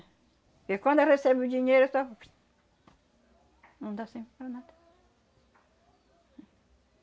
Porque quando recebe o dinheiro, só... Não dá sempre para nada.